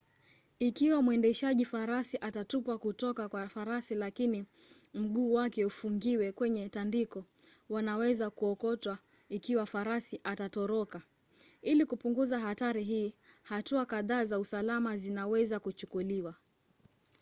ikiwa mwendeshaji farasi atatupwa kuotka kwa farasi lakini mguu wake ufungiwe kwenye tandiko wanaweza kukokotwa ikiwa farasi atatoroka. ili kupunguza hatari hii hatua kadhaa za usalama zinaweza kuchukuliwa